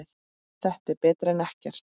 Þetta er betra en ekkert